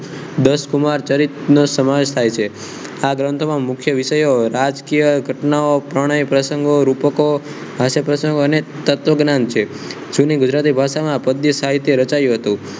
દસ કુમાર ચરિત્રનો સમાવેશ થાય છે આ ગ્રંથોમાં મુખ્ય વિષયો રાજકીય ઘટનાઓ ત્રણે પ્રસંગો રૂપકો અને તત્વજ્ઞાન છે જેમાં ગુજરાતી ભાસામા પદ્ય સાહિત્ય રચાયું હતું